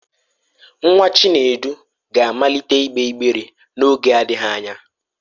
Nwa Chinedu ga-amalite ịgbe ịgbere n'oge adịghị anya.